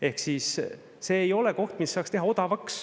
Ehk siis see ei ole koht, mis saaks teha odavaks.